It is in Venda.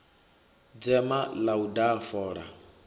dzema ḽa u daha fola